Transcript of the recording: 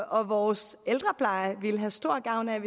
og vores ældrepleje ville have stor gavn af